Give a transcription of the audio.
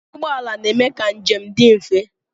Ụgbọala na-eme ka njem dị mfe.